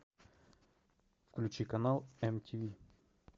включи канал мтв